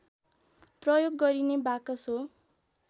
प्रयोग गरिने बाकस हो